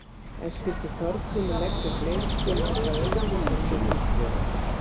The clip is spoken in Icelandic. En skyldi Þorgrímur leggja upp leikinn eitthvað öðruvísi en Willum gerir?